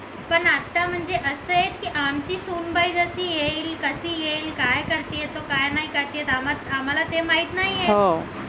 पण आता म्हणजे असा आहे की जशी येईल कशी येईल काय करतोय तू काय नाही करते आम्हाला ते माहित नाही आहे.